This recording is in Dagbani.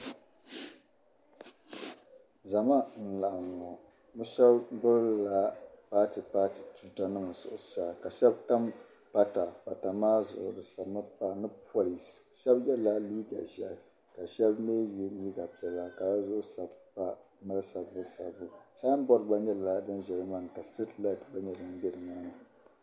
Zama n-laɣim ŋɔ. Bɛ shɛba gbibila paatipaati tuutanima zuɣusaa ka shɛba tam pata zuɣu. Pata maa zuɣu bɛ sabimi pa ni polinsi. Shɛba yɛla liiga ʒiɛhi ka shɛba mi ye liiga piɛla ka di zuɣu mali sabbusabbu. Sainboodi gba nyɛla din za nimaani ka siriti laati gba nyɛ dim be nimaani.